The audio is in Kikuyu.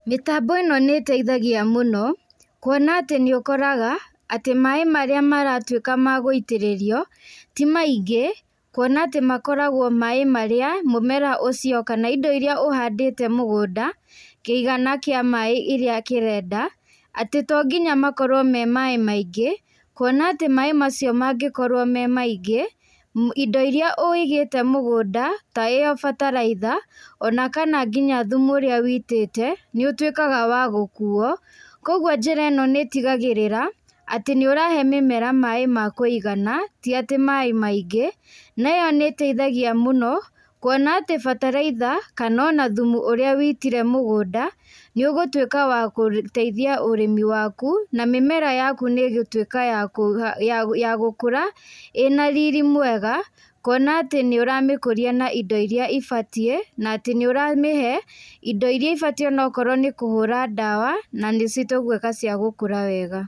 Mĩtambo ĩno nĩteithagia mũno. Kuona atĩ nĩ ũkoraga atĩ maĩ marĩa maratuĩka ma gũitĩrĩrio ti maingĩ, kuona atĩ makoragwo maĩ marĩa mũmera ũcio kana indo iria ũhandĩte mũgũnda, kĩigana kĩa maĩ iria kĩrenda. Atĩ to nginya makorwo me maĩ maingĩ, kuona atĩ maĩ macio mangĩkorwo me maingĩ, indo iria ũigĩte mũgũnda, ta ĩo bataraitha, ona kana nginya thumu, ũrĩa ũitĩte, nĩ ũtwĩkaga wa gũkuo. Koguo njĩra ĩno nĩtĩgagĩrĩra atĩ nĩ ũrahe mĩmera maĩ ma kũigana, ti atĩ maĩ maingĩ, neyo nĩteithagia mũno. Kuona atĩ bataraitha, kana ona thumu ũrĩa ũitire mũgũnda, nĩũgũtuĩka wa gũteithia ũrĩmi waku, na mĩmera yaku nĩgũtuĩka ya gũkũra ĩ na riri mwega. Kuona atĩ nĩ ũramĩkũria na indo iria ibatiĩ na nĩũramĩhe indo iria ibatie, onokorwo nĩ kũhũra dawa na nĩ citũgwĩka cia gũkũra wega.